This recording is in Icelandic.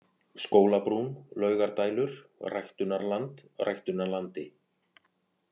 Skólabrún, Laugardælur, Ræktunarland, Ræktunarlandi